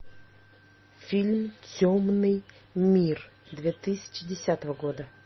фильм темный мир две тысячи десятого года